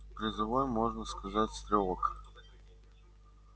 призовой можно сказать стрелок